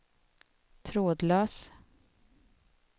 trådlös